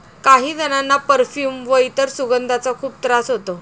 काही जणांना परफ्यूम व इतर सुगंधांचा खूप त्रास होतो.